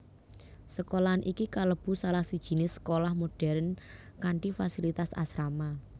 Sekolahan iki kalebu salah sijiné sekolah modern kanthi fasilitas asrama